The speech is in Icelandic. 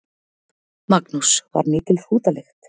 Magnús: Var mikil hrútalykt?